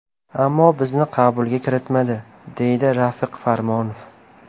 Ammo bizni qabulga kiritmadi”, deydi Rafiq Farmonov.